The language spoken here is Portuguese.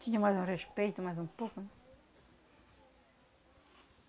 Tinha mais um respeito, mais um pouco, né?